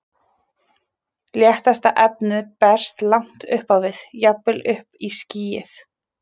Léttasta efnið berst langt upp á við, jafnvel upp í skýið.